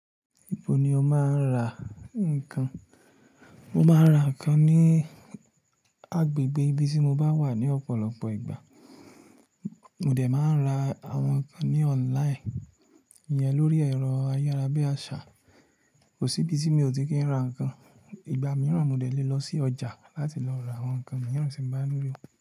Ibo ni o máa ń ra nǹkan? Mo máa ń ra nǹkan ní agbègbè ibi tí mo bá wà ní ọ̀pọ̀lọpọ̀ ìgbà. Mò dé máa ń ra àwọn nǹkan ní ọ́ńline, ìyẹn lórí ẹ̀rọ ayára bí àṣá. Kò sí ibi tí mi ò tí kí ń ra nǹkan. Ìgbà mìíràn mo de lọ sí ọjà láti lọ ra àwọn nǹkan mìíràn tí mo bá nilo.